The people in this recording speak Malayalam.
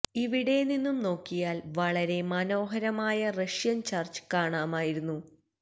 ഇവിടെ നിന്നും നോക്കിയാല് വളരെ മനോഹരമായ റഷ്യൻ ചർച്ച് കാണാമായിരുന്നു